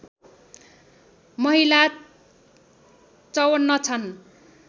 महिला ५४ छन्